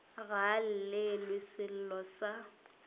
ga a llelwe sello sa